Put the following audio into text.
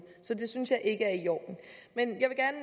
så det synes jeg ikke